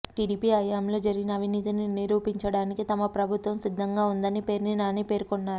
TDP హయాంలో జరిగిన అవినీతిని నిరూపించడానికి తమ ప్రభుత్వం సిద్ధంగా ఉందని పేర్ని నాని పేర్కొన్నారు